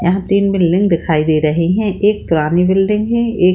यहाँ तीन बिल्डिंग दिखाई दे रही हैं एक पुरानी बिल्डिंग है एक --